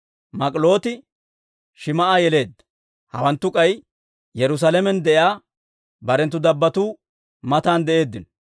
Mik'ilooti Shim"a yeleedda. Hawanttu k'ay Yerusaalamen de'iyaa barenttu dabbattuu matan de'eeddino.